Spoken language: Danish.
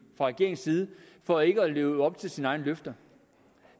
fra regeringens side for ikke at leve op til sine egne løfter